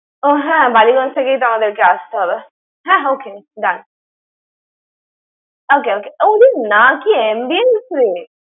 ও হ্যাঁ বালিগঞ্জ থেকেই তো আমাদেরকে আসতে হবে। হ্যাঁ, okay done । Okay, okay । ওরে না! কি ambience রে!